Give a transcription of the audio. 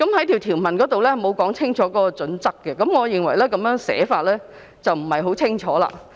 條文並無清楚說明有關準則，我認為這種寫法不太清晰。